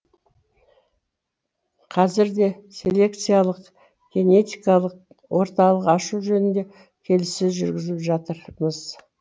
қазірде селекциялық генетикалық орталық ашу жөнінде келіссөз жүргізіп жатырмыз